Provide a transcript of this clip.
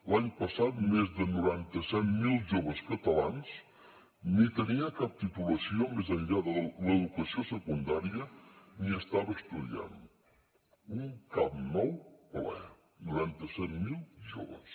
l’any passat més de noranta set mil joves catalans ni tenia cap titulació més enllà de l’educació secundària ni estava estudiant un camp nou ple noranta set mil joves